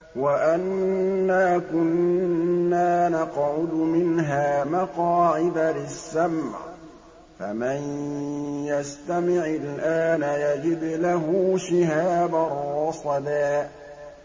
وَأَنَّا كُنَّا نَقْعُدُ مِنْهَا مَقَاعِدَ لِلسَّمْعِ ۖ فَمَن يَسْتَمِعِ الْآنَ يَجِدْ لَهُ شِهَابًا رَّصَدًا